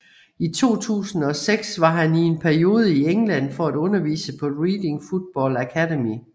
I 2006 var han i en periode i England for at undervise på Reading Football Academy